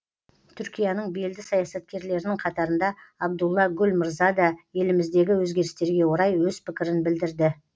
түркияның белді саясаткерлерінің қатарында абдулла гүл мырза да еліміздегі өзгерістерге орай өз пікірін білдірді